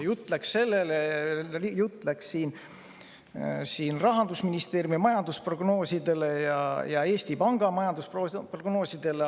Jutt läks siin Rahandusministeeriumi ja Eesti Panga majandusprognoosidele.